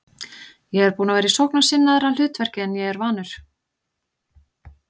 Ég er búinn að vera í sóknarsinnaðra hlutverki en ég er vanur.